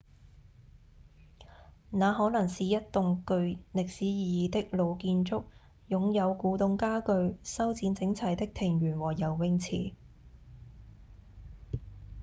那可能是一棟具歷史意義的老建築擁有古董家具、修剪整齊的庭園和游泳池